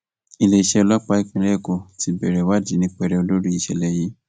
iléeṣẹ ọlọpàá ìpínlẹ èkó ti bẹrẹ ìwádìí ní pẹrẹu lórí ìṣẹlẹ yìí